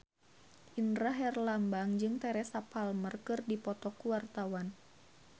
Indra Herlambang jeung Teresa Palmer keur dipoto ku wartawan